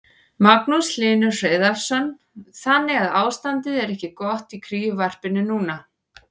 Magnús Hlynur Hreiðarsson: Þannig að ástandið er ekki gott í kríuvarpinu núna?